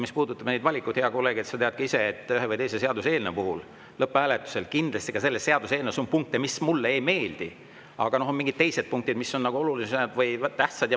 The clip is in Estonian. Mis puudutab neid valikuid, hea kolleeg, siis sa tead ka ise, et ühe või teise seaduseelnõu puhul on lõpphääletusel punkte, mis ei meeldi, aga on mingid teised punktid, mis on olulised ja tähtsad.